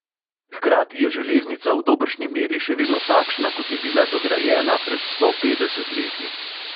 Hkrati je železnica v dobršni meri še vedno takšna, kot je bila dograjena pred sto petdeset leti.